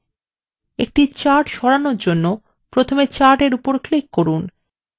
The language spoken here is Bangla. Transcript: একটি chart সরানোর জন্য প্রথমে chart in উপর click করুন